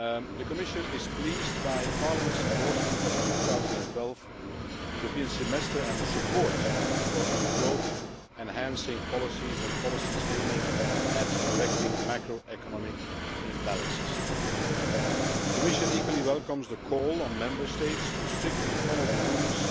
The Commission is pleased by Parliament's endorsement of the 2012 European Semester and the support for its growth enhancing policies and its policies aimed at correcting macroeconomic imbalances. The Commission equally welcomes the call for Member States to strictly follow the rules